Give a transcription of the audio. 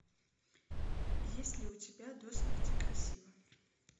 есть ли у тебя до смерти красива